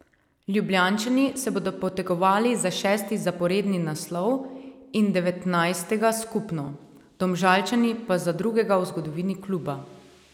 Ljubljančani se bodo potegovali za šesti zaporedni naslov in devetnajstega skupno, Domžalčani pa za drugega v zgodovini kluba.